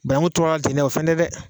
Banangu tora ten nɛ o fɛnɛ dɛ